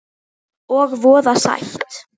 Og voða sætt.